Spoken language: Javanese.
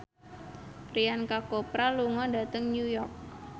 Priyanka Chopra lunga dhateng New York